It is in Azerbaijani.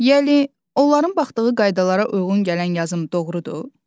Yəni, onların baxdığı qaydalara uyğun gələn yazım doğrudur?